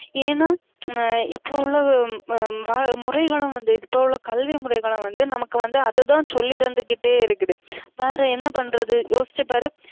ஏன்னா இப்ப உள்ள முறைகளும் வந்து இப்ப உள்ள கல்வி முறைகளும் வந்து நமக்கு வந்து அததான் சொல்லி தந்துகிட்டே இருக்குது பாரு என்ன பன்றது யோசிச்சு பாரு